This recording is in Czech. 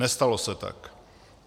Nestalo se tak.